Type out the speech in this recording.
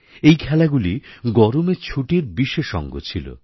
এই খেলাগুলি গরমের ছুটির বিশেষ অঙ্গ ছিল